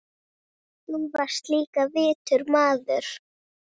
Þú varst líka vitur maður.